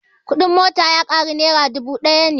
Kuɗin mota ya ƙaru nera dubu ɗaya ne